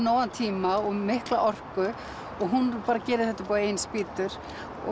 nógan tíma og mikla orku og hún bara gerir þetta upp á eigin spýtur